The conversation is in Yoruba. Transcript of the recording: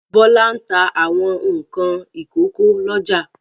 Bọ́lá ń ta àwọn nǹkan ìkókó lọ́jà.